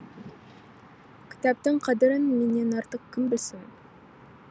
кітаптың қадірін менен артық кім білсін